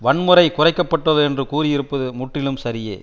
வன்முறை குறைக்க பட்டுள்ளது என்று கூறியிருப்பது முற்றிலும் சரியே